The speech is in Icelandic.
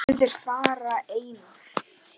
Einn þeirra var Einar